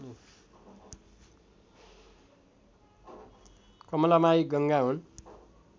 कमलामाई गङ्गा हुन्